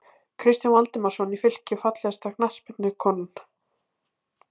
Kristján Valdimarsson í Fylki Fallegasta knattspyrnukonan?